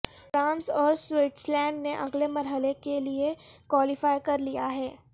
France اور Switzerland نے اگلے مرحلے کے لیے کوالیفائی کرلیا ہے